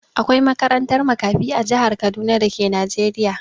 Akwai makarantar makafi a jihar Kaduna da ke Najeriya.